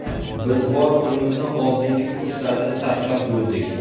Biz bor pulimizni oldingi kurslarda sarflab bo‘ldik.